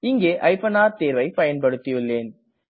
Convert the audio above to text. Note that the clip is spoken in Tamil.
இங்கே r தேர்வை பயன்படுத்தியுள்ளேன்